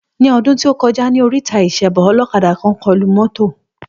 Ní ọdún tí o kọjá, ní oríta ìsebọ olókadà kàn kọlu mọ́tò.